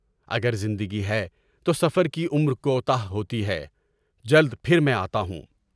اگر زندگی ہے تو سفر کی عمر کوتاہ ہوتی ہے، جلد پھر میں آتا ہوں۔